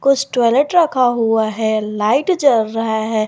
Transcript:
कुछ टॉयलेट रखा हुआ है लाइट जल रहा है।